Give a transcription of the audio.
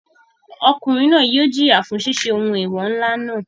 Ọkùnrin náà yóò jìyà fún ṣiṣẹ́ ohun eewọ ńlá náà.